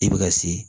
I bɛ ka se